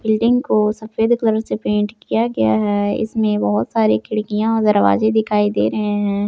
Building को सफेद colour से पेंट किया गया है इसमें बहुत सारी खिड़कियां और दरवाजे दिखाई दे रहे हैं।